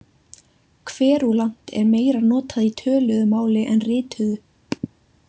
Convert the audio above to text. Kverúlant er meira notað í töluðu máli en rituðu.